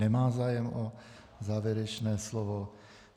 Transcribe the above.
Nemá zájem o závěrečné slovo.